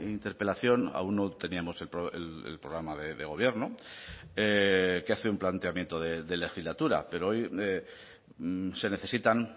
interpelación aún no teníamos el programa de gobierno que hace un planteamiento de legislatura pero hoy se necesitan